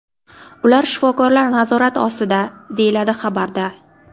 Ular shifokorlar nazorati ostida”, deyiladi xabarda.